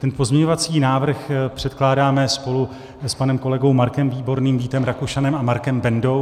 Ten pozměňovací návrh předkládáme spolu s panem kolegou Markem Výborným, Vítem Rakušanem a Markem Bendou.